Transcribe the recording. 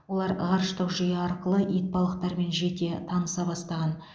олар ғарыштық жүйе арқылы итбалықтармен жете таныса бастаған